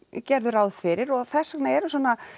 gerðu ráð fyrir og þess vegna eru svona